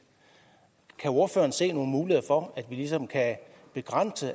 kan ordføreren se nogle muligheder for at vi ligesom kan begrænse